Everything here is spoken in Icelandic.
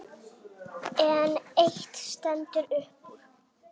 En eitt stendur upp úr.